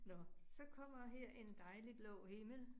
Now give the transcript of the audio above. Nåh, så kommer her en dejlig blå himmel